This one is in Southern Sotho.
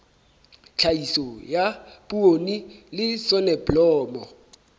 tlhahiso ya poone le soneblomo